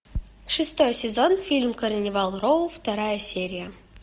шестой сезон фильм карнивал роу вторая серия